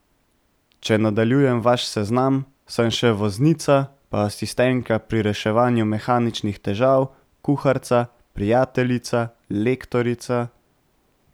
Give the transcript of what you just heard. Če nadaljujem vaš seznam, sem še voznica, pa asistentka pri reševanju mehaničnih težavah, kuharica, prijateljica, lektorica ...